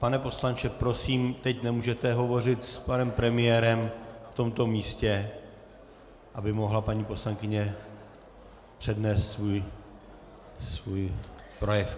Pane poslanče, prosím, teď nemůžete hovořit s panem premiérem v tomto místě, aby mohla paní poslankyně přednést svůj projev.